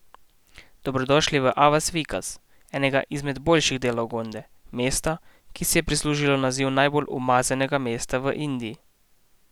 Dobrodošli v Avas Vikas, enega izmed boljših delov Gonde, mesta, ki si je prislužilo naziv najbolj umazanega mesta v Indiji.